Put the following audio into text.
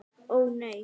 Ó nei.